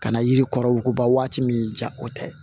Ka na yiri kɔrɔ woba waati min ja o tɛ